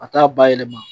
A t'a bayɛlɛma